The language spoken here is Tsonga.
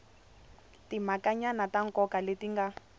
timhakanyana ta nkoka leti nga